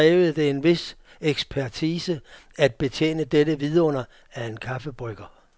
Naturligvis krævede det en vis ekspertise at betjene dette vidunder af en kaffebrygger.